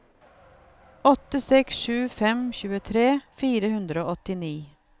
åtte seks sju fem tjuetre fire hundre og åttini